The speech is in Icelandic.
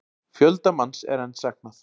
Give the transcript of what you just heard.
Fjölda manns er enn saknað